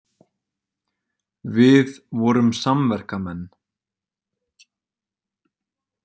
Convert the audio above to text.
Við vorum samverkamenn.